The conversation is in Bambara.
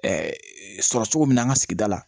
sɔrɔ cogo min na an ka sigida la